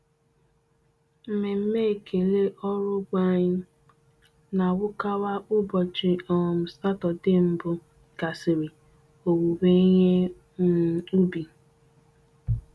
Mmemme ekele ọrụ ugbo anyị na-awukawa ụbọchi um Satọde mbụ gasịrị owuwe ihe um ubi.